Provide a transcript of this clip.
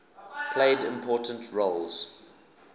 played important roles